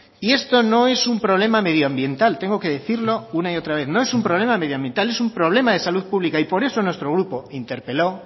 y esto no es un problema medioambiental tengo que decirlo una y otra vez no es un problema medioambiental es un problema de salud pública y por eso nuestro grupo interpeló